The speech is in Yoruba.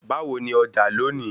Báwo ní Ọjà lónìí